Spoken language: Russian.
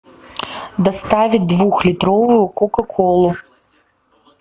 доставить двухлитровую кока колу